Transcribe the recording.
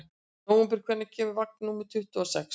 Nóvember, hvenær kemur vagn númer tuttugu og sex?